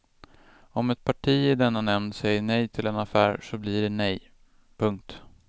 Om ett parti i denna nämnd säger nej till en affär så blir det nej. punkt